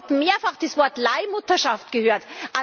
Ich habe heute mehrfach das Wort Leihmutterschaft gehört.